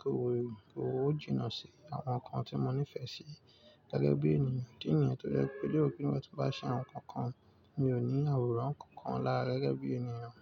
kò jìnnà sí àwọn ǹkan tí mo nifẹ sí gẹgẹbi ènìyàn. Ìdí nìyẹn tọ jẹ́ pé ibi tí ba ṣe àwọn ǹkan kan. Mi ò ní àwòrán kankan lára gẹ́gẹ́ bí ènìyàn.